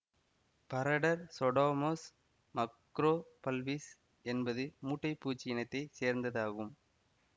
பரடர் சொடொமஸ் மக்ரோபல்பிஸ் என்பது மூட்டைப் பூச்சி இனத்தை சேர்ந்தது ஆகும்